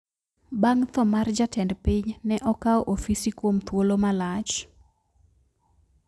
Bang` tho mar jatend piny ne okao ofisi kuom thuolo malach